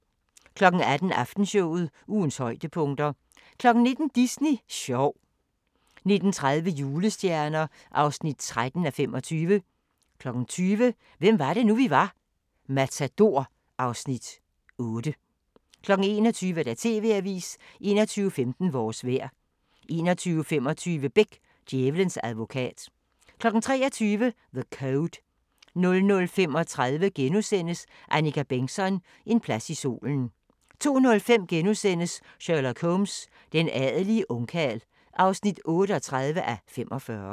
18:00: Aftenshowet – ugens højdepunkter 19:00: Disney sjov 19:30: Julestjerner (13:25) 20:00: Hvem var det nu, vi var: Matador (Afs. 8) 21:00: TV-avisen 21:15: Vores vejr 21:25: Beck: Djævelens advokat 23:00: The Code 00:35: Annika Bengtzon: En plads i solen * 02:05: Sherlock Holmes: Den adelige ungkarl (38:45)*